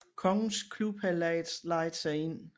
Kongens Klub havde lejet sig ind